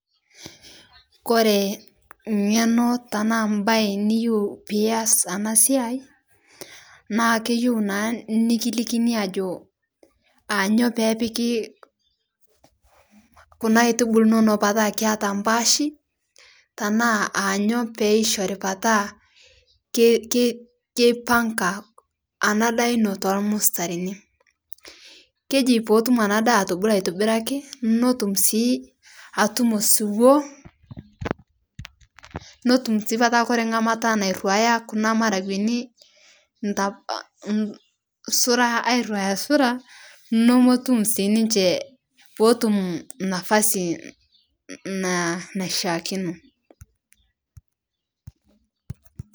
Kore ng'eno tanaa mbai niyeu pias ana siai naa keyeu naa nikilikini ajoo anyo pepikii kuna aitubulu inono petaa mpaashi tanaa anyo peishori petaa keipang'a ana daa ino tolmustarini keji pootum ana daa atubulu aitibiraki notum sii atumo siwoo notum sii petaa kore ng'amata nairuaya kuna maragweni zuraa airuaya zuraa nomotum sii ninshe pootum nafasi naishiakino.